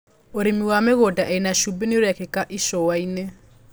ũrĩmi wa mĩgũnda ĩna cumbĩ nĩ ũrekĩka icuainĩ.